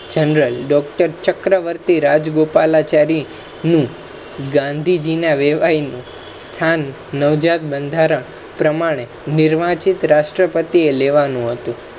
general Doctor Chakravarti Rajagopalachari નુ ગાંધીજી ના વેવાઇનુ સ્થાન નવજાત બંધારણ પ્રમાણે નિર્વાચિત રાષ્ટ્રપતિ એ લેવાનુ હતુ